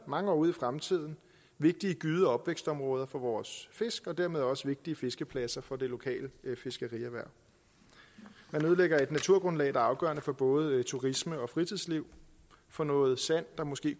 mange år ud i fremtiden at vigtige gyde og opvækstområder for vores fisk og dermed også vigtige fiskepladser for det lokale fiskerierhverv man ødelægger et naturgrundlag der er afgørende for både turisme og fritidsliv for noget sand der måske